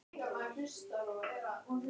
Hafið þið heyrt aðra eins vitleysu?